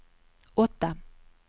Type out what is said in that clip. åtta